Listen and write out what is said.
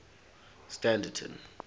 standerton